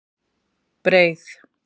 Breið